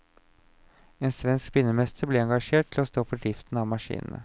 En svensk spinnemester ble engasjert til å stå for driften av maskinene.